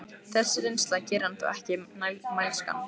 Þessi reynsla gerir hann þó ekki mælskan.